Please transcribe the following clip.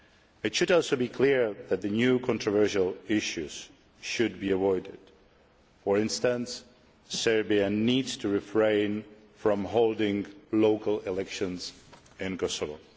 It should also be clear that new controversial issues should be avoided for instance, Serbia needs to refrain from holding local elections in Kosovo.